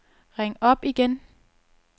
ring op igen